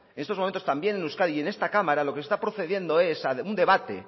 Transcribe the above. en estos momentos también en euskadi y en esta cámara lo que se está procediendo es a un debate